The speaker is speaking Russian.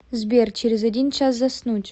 сбер через один час заснуть